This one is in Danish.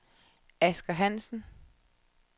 Asger Hansen